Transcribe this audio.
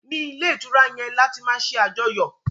ní ilé ìtura yén là tí ma ṣe Àjọyọ̀